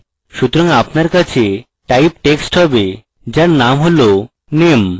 সুতরাং আপনার কাছে type text have যার name হল name